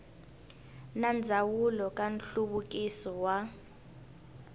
na ndzawulo ya nhluvukiso wa